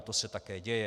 A to se také děje.